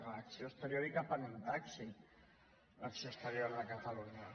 que l’acció exterior cap en un taxi l’acció exterior de catalunya